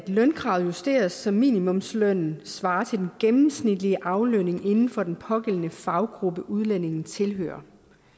lønkravet justeres så minimumslønnen svarer til den gennemsnitlige aflønning inden for den pågældende faggruppe udlændingen tilhører